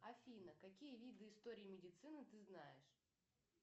афина какие виды истории медицины ты знаешь